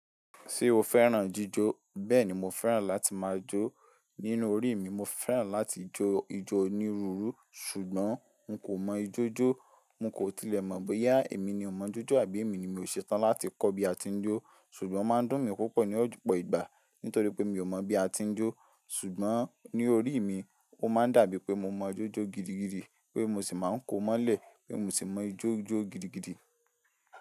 Ṣé o fẹ́ràn jíjó? Bẹ́ẹ̀ni, mo fẹ́ràn láti máa jó. Nínú orí mi, mo fẹ́ràn láti jó ijó onírúurú. Ṣùgbọ́n n kò mọ ijó jó, n kò tilẹ̀ mọ̀ bóyá èmi ni ò mọ ijó jó àbí èmi ni mi ò ṣe tán láti kọ́ bí a ti ń jó. Ṣùgbọ́n máa ń dùn mí púpọ̀ ní ojúpọ̀ ìgbà nítorí pé mi ò mọ̀ bí a ti ń jó. Ṣùgbọ́n ní orí mi, ó máa ń dàbí pé mo mọ ijó jó gidigidi pé mo sì máa ń ko mọ́lẹ̀ pé mo sì mọ ijó jó gidigidi.